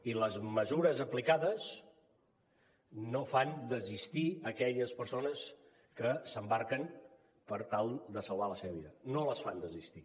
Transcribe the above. i les mesures aplicades no fan desistir aquelles persones que s’embarquen per tal de salvar la seva vida no les fan desistir